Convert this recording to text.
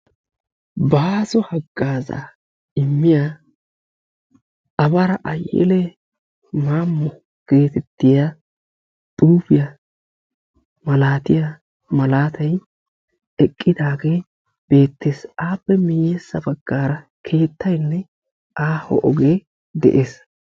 "Baaso haggazaa immiyaa Abara Ayelee Maammo" geetettiyaa xuufiyaa malaatiyaa malaatay eqqidaagee beettes. Aappe miyyessa baggaara keettaynne aaho ogee de'ees.